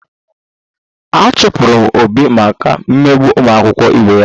A chụpụrụ Obi maka imegbu ụmụakwụkwọ ibe ya